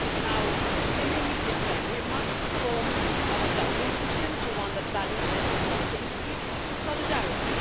Now, in the immediate term, we must reform our Dublin system to one that balances responsibility with solidarity.